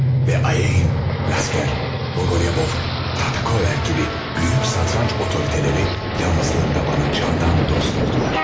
Ve Ayin, Lasker, Boğoliabov, Tatahover gibi büyük satranç otoriteleri yalnızlığımda bana candan dost oldular.